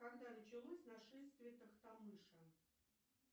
когда началось нашествие тохтамыша